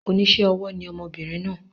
Onísé ọwọ́ ni ọmọbìnrin naa